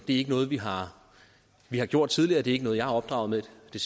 ikke noget vi har vi har gjort tidligere det er ikke noget jeg er opdraget med og det